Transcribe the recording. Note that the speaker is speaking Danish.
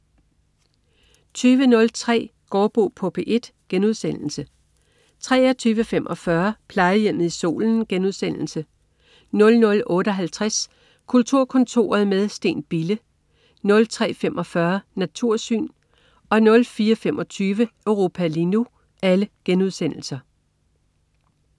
20.03 Gaardbo på P1* 23.45 Plejehjemmet i Solen* 00.58 Kulturkontoret med Steen Bille* 03.45 Natursyn* 04.25 Europa lige nu*